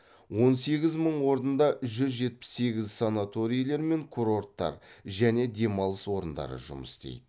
он сегіз мың орында жүз жетпіс сегіз санаторийлер мен курорттар және демалыс орындары жұмыс істейді